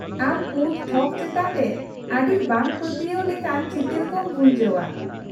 -ᱟᱢ ᱯᱩᱸᱰ ᱛᱷᱚᱠ ᱪᱮᱛᱟᱱ ᱨᱮ ᱟᱹᱰᱤ ᱵᱟᱝᱯᱟᱹᱛᱭᱟᱣ ᱞᱮᱠᱟᱱ ᱪᱤᱛᱟᱹᱨ ᱠᱚᱢ ᱵᱷᱩᱡᱟᱹᱣᱼᱟ ᱾